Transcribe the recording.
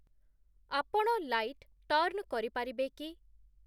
ଆପଣ light turn କରିପାରିବେ କି?